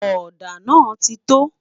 òdà nà tito